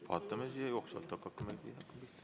Vaatame jooksvalt, hakake pihta.